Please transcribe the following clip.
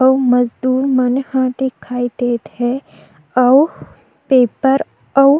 अउ मजदूर मन ह दिखाई देत हे अउ पेपर ह अउ --